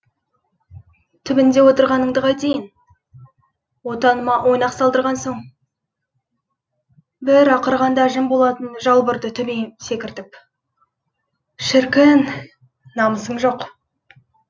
түбінде орындағаныңды қайтейін отаныма ойнақ салдырған соң бір ақырғанда жым болатын жалбырды төбеме секіртіп шіркін намысың жоқ